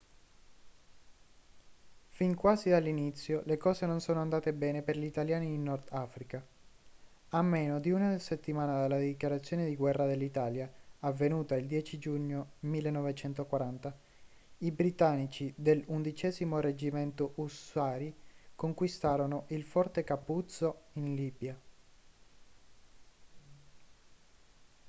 fin quasi dall'inizio le cose non sono andate bene per gli italiani in nord africa. a meno di una settimana dalla dichiarazione di guerra dell'italia avvenuta il 10 giugno 1940 i britannici dell'11º reggimento ussari conquistarono il forte capuzzo in libia